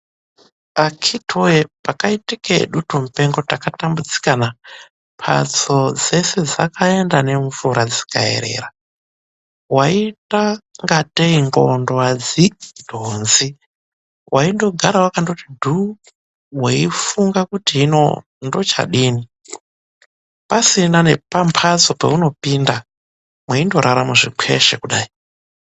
Akiti woye pakaitike dutu mupengo takatambudzika na, mbatso dzese dzakaenda ngemvura dzikaerera. Waiita ingatei nxondlo adzidhonzi, weindogara wakati dhuu, weifunga kuti hin9 ndochadii. Pasina pambatso peungapinda, weindorara muzvikwehle kudai.